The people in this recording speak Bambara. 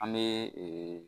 An bɛ